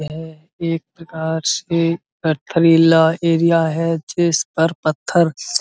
और एक प्रकार से पथरीला एरिया है। जिस पर पत्थर --